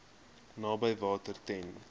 naby water ten